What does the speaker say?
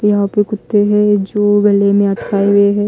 यहां पे कुत्ते हैं जो गले में अटकाए हुए हैं।